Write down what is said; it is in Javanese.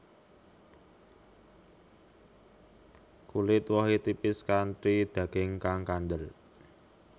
Kulit wohé tipis kanthi daging kang kandel